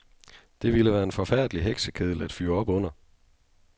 Det ville være en forfærdelig heksekedel at fyre op under.